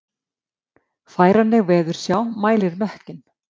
Færanleg veðursjá mælir mökkinn